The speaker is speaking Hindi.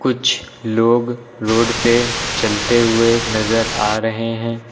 कुछ लोग रोड पे चलते हुए नजर आ रहे हैं।